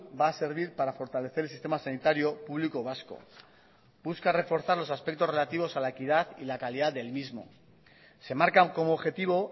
va a servir para fortalecer el sistema sanitario público vasco busca reforzar los aspectos relativos a la equidad y la calidad del mismo se marcan como objetivo